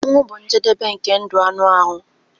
Ọnwụ bụ njedebe nke ndụ anụ ahụ.